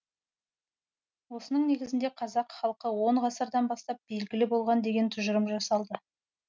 осының негізінде қазақ халқы он ғасырдан бастап белгілі болған деген тұжырым жасалды